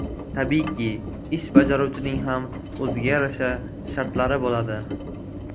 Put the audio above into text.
Tabiiyki, ish bajaruvchining ham o‘ziga yarasha shartlari bo‘ladi.